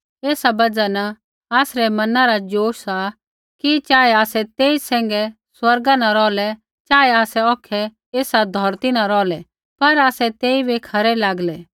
ऐसा बजहा न आसरै मना रा ज़ोश सा कि चाहे आसै तेई सैंघै स्वर्गा न रौहलै चाहे आसै औखै ऐसा धौरती न रौहलै पर आसै तेइबै खरै लागलै